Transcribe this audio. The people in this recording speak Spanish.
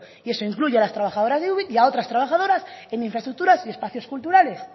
y eso incluye a las trabajadoras de ubik y a otras trabajadoras en infraestructuras y espacios culturales